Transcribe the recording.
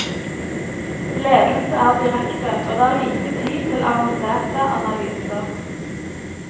Ledelse er direkte, og det er lite tid til avanserte analyser.